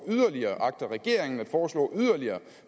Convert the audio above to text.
yderligere og agter regeringen at foreslå yderligere